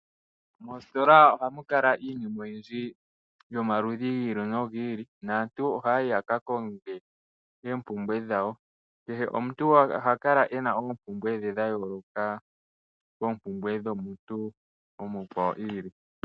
Moositola ohamu kala iinima oyindji yomaludhi giili nogiili, naantu oha ya yi yaka konge oompumbwe dhawo. Kehe omuntu oha kala e na oompumbwe dhe dhayooloka koopumbwe dhomuntu omukwawo iili.